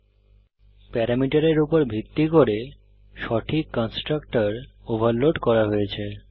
উল্লেখ্য প্যারামিটারের উপর ভিত্তি করে সঠিক কন্সট্রাকটর ওভারলোড করা হয়েছে